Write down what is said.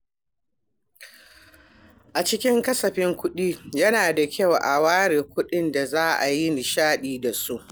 A cikin kasafin kuɗi, yana da kyau a ware kuɗin da za a yi nishaɗi da su.